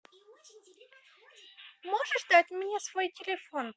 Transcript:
можешь дать мне свой телефон